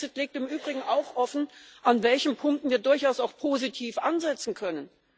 Der Brexit legt im Übrigen auch offen, an welchen Punkten wir durchaus auch positiv ansetzen können.